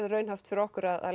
raunhæft fyrir okkur að